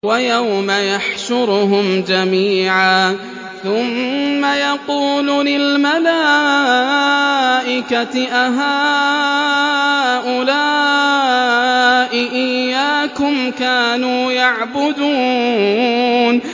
وَيَوْمَ يَحْشُرُهُمْ جَمِيعًا ثُمَّ يَقُولُ لِلْمَلَائِكَةِ أَهَٰؤُلَاءِ إِيَّاكُمْ كَانُوا يَعْبُدُونَ